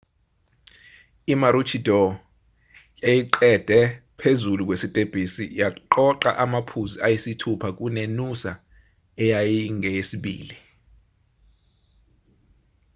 i-maroochydore yayiqede phezulu kwesitebhisi yaqoqa amaphuzu ayisithupha kune-noosa eyayingeyesibili